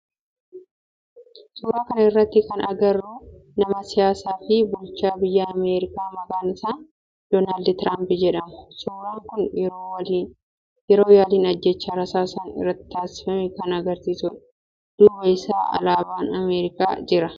Suuraa kana irratti kan agarru nama siyaasaa fi bulchaa biyya Ameerikaa maqaan isaa Doolaand Tiraamp jedhamudha. Suuraan kun yeroo yaalin ajjeechaa rasaasan irratti taasifame kan agarsiisudha. Duuba isaa alaabaan ameerikaa jira.